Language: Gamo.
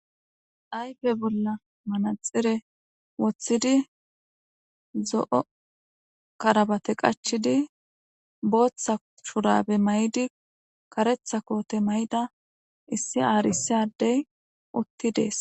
aype bolla manaxire woththidi zo7o karabate qachidi booththa shurabe may7di karetha koote may7da issi aarisadey utti dees